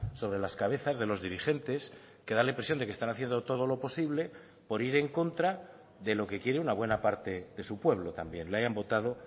sobre las cabezas de los dirigentes que da la impresión de que están haciendo todo lo posible por ir en contra de lo que quiere una buena parte de su pueblo también le hayan votado